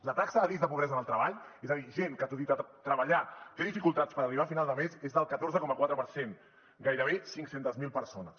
la taxa de risc de pobresa en el treball és a dir gent que tot i treballar té dificultats per arribar a final de mes és del catorze coma quatre per cent gairebé cinc cents miler persones